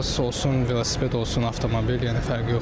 Olsun velosiped, olsun avtomobil, yəni fərqi yoxdur.